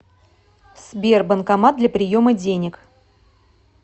сбер банкомат для приема денег